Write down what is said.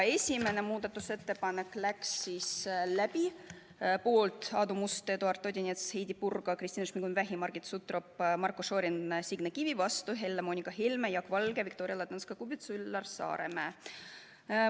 Esimene muudatusettepanek läks läbi: poolt Aadu Must, Eduard Odinets, Heidy Purga, Kristina Šmigun-Vähi, Margit Sutrop, Marko Šorin, Signe Kivi, vastu Helle-Moonika Helme, Jaak Valge, Viktoria Ladõnskaja-Kubits, Üllar Saaremäe.